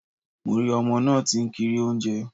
Mo rí ọmọ náà tí ń kiri oúnjẹ